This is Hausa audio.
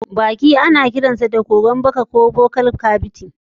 Baki kuma ana kiransa da kogon baka ko buccal cavity.